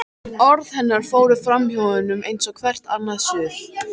Orð hennar fóru framhjá honum eins og hvert annað suð.